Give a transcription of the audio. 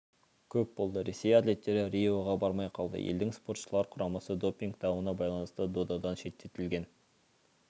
көп болды ресей атлеттері риоға бармай қалды елдің спортшылар құрамасы допинг дауына байланысты додадан шеттетілген